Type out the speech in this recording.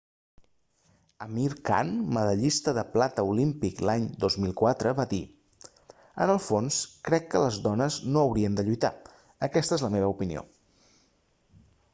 amir khan medallista de plata olímpic l'any 2004 va dir en el fons crec que les dones no haurien de lluitar aquesta és la meva opinió